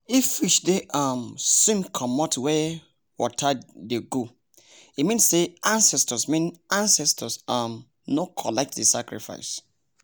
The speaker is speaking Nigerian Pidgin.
if fish dey um swim comot where water dey go. e mean say ancestors mean say ancestors um no collect the sacrifice